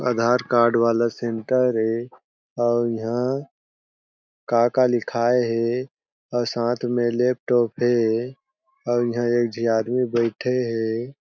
आधार card वाला centre ए अउ इहा का-का लिखाए हे अउ साथ में लैपटॉप हे अउ इहा एक झी आदमी बईठे हे।